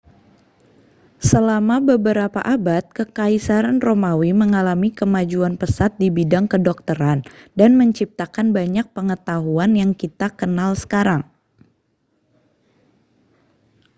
selama beberapa abad kekaisaran romawi mengalami kemajuan pesat di bidang kedokteran dan menciptakan banyak pengetahuan yang kita kenal sekarang